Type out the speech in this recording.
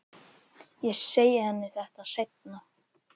Ég segi henni þetta seinna.